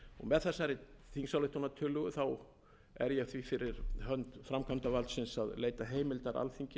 með þessari þingsályktunartillögu er ég því fyrir hönd framkvæmdarvaldsins að leita heimildar alþingis til þess að